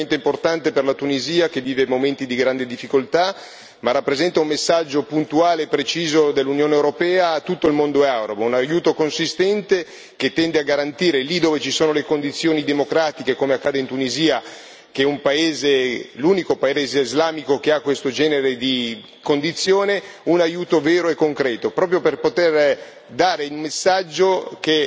Un aiuto sostanziale straordinariamente importante per la Tunisia, che vive momenti di grande difficoltà, ma che rappresenta un messaggio puntuale e preciso dell'Unione europea a tutto il mondo arabo. Un aiuto consistente che tende a garantire, lì dove ci sono le condizioni democratiche, come accade in Tunisia, che è l'unico paese islamico che ha questo genere di condizioni, un aiuto vero e concreto, proprio per poter